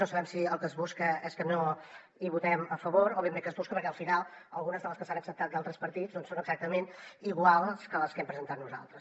no sabem si el que es busca és que no hi votem a favor o ben bé què es busca perquè al final algunes de les que s’han acceptat d’altres partits són exactament iguals que les que hem presentat nosaltres